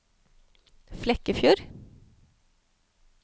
Flekkefjord